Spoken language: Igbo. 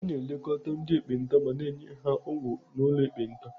A na-elekọta ndị ekpenta ma na-enye ha ọgwụ n'ụlọ ekpenta.